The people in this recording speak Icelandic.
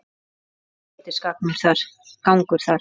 Það er ágætis gangur þar.